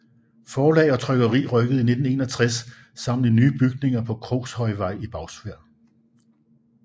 Forlag og trykkeri rykkede i 1961 sammen i nye bygninger på Krogshøjvej i Bagsværd